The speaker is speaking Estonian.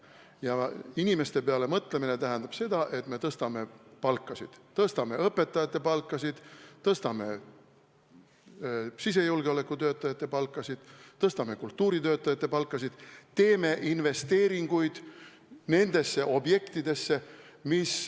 Ja inimeste peale mõtlemine tähendab seda, et me tõstame palkasid: tõstame õpetajate palkasid, tõstame sisejulgeoleku töötajate palkasid, tõstame kultuuritöötajate palkasid, teeme investeeringuid teatud objektidesse.